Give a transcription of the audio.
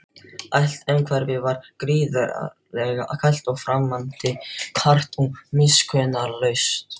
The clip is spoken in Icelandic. Allt umhverfið var gríðarlega kalt og framandi, hart og miskunnarlaust.